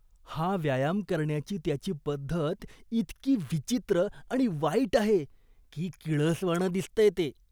हा व्यायाम करण्याची त्याची पद्धत इतकी विचित्र आणि वाईट आहे की किळसवाणं दिसतंय ते.